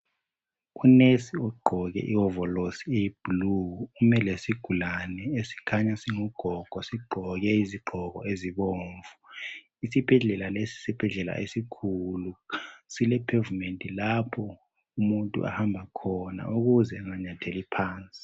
Unesi ugqoke iwovolosi eyi blue ume lesigulane esikhanya singugugogo sigqoke izigqoko ezibomvu isibhedlela lesi yisibhedlela esikhulu sile pavement lapho omuntu ahamba khona ukuze enganyatheli phansi